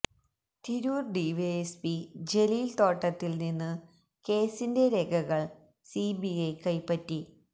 Tirur DYSP Jaleel തോട്ടത്തിലില് നിന്ന് കേസിന്റെ രേഖകള് സിബിഐ കൈപ്പറ്റി